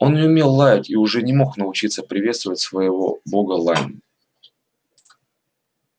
он не умел лаять и уже не мог научиться приветствовать своего бога лаем